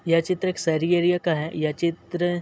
यह चित्र एक शहरी एरिया का है यह चित्र --